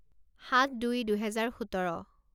সাত দুই দুহেজাৰ সোতৰ